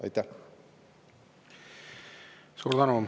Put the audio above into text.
Suur tänu!